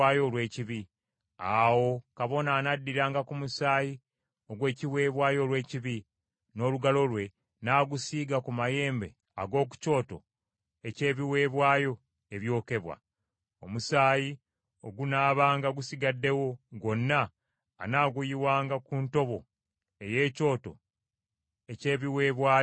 Awo kabona anaddiranga ku musaayi ogw’ekiweebwayo olw’ekibi, n’olugalo lwe, n’agusiiga ku mayembe ag’oku kyoto eky’ebiweebwayo ebyokebwa. Omusaayi ogunaabanga gusigaddewo, gwonna anaaguyiwanga ku ntobo ey’ekyoto eky’ebiweebwayo ebyokebwa.